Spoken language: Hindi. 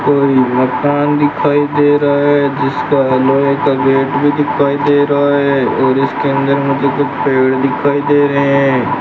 कोई मकान दिखाई दे रहा है जिसका लोहे का गेट भी दिखाई दे रहा है और इसके अंदर मुझे कुछ पेड़ दिखाई दे रहे हैं।